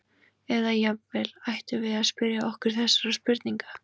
Eða jafnvel: Ættum við að spyrja okkur þessara spurninga?